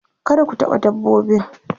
kada ku taɓa dabbobin